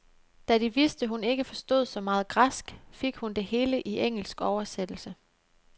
Da de vidste, hun ikke forstod så meget græsk, fik hun det hele i engelsk oversættelse.